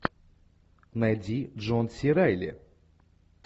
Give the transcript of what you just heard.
найди джон си райли